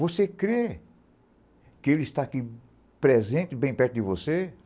Você crê que ele está aqui presente, bem perto de você?